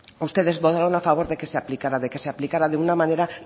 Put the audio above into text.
ustedes votaron a favor de que se aplicara de que se aplicara de una manera